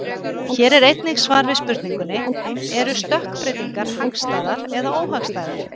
Hér er einnig svar við spurningunni: Eru stökkbreytingar hagstæðar eða óhagstæðar?